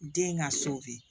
Den ŋa so bi